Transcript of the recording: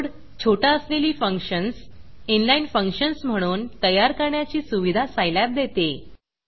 code छोटा असलेली functions in line in inline functions म्हणून तयार करण्याची सुविधा सायलॅब देते